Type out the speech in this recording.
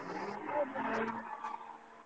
Bye bye।